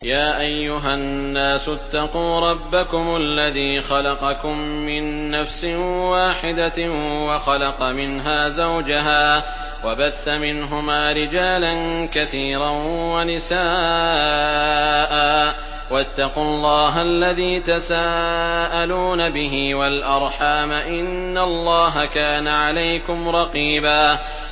يَا أَيُّهَا النَّاسُ اتَّقُوا رَبَّكُمُ الَّذِي خَلَقَكُم مِّن نَّفْسٍ وَاحِدَةٍ وَخَلَقَ مِنْهَا زَوْجَهَا وَبَثَّ مِنْهُمَا رِجَالًا كَثِيرًا وَنِسَاءً ۚ وَاتَّقُوا اللَّهَ الَّذِي تَسَاءَلُونَ بِهِ وَالْأَرْحَامَ ۚ إِنَّ اللَّهَ كَانَ عَلَيْكُمْ رَقِيبًا